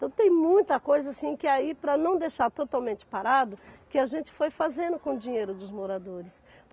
Então tem muita coisa assim que aí, para não deixar totalmente parado, que a gente foi fazendo com o dinheiro dos moradores.